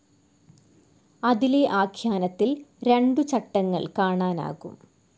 അതിലെ ആഖ്യാനത്തിൽ രണ്ടു ചട്ടങ്ങൾ കാണാനാകും.